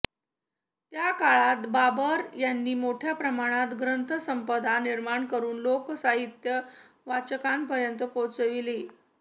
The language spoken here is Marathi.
त्या काळात बाबर यांनी मोठ्या प्रमाणावर ग्रंथसंपदा निर्माण करून लोकसाहित्य वाचकांपर्यंत पोहोचविले